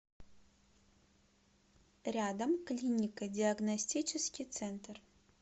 рядом клинико диагностический центр